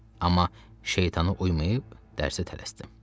Amma şeytanı uymayıb dərsə tələsdim.